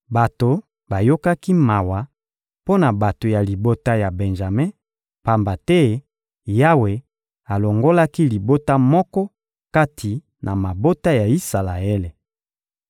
Bato bayokaki mawa mpo na bato ya libota ya Benjame, pamba te Yawe alongolaki libota moko kati na mabota ya Isalaele.